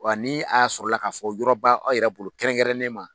Wa ni a y'a sɔrɔ k'a fɔ yɔrɔ ba aw yɛrɛ bolo kɛrɛnkɛrɛnnen ma